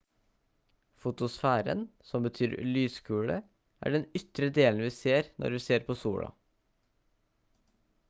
fotosfæren som betyr «lyskule» er den ytre delen vi ser når vi ser på sola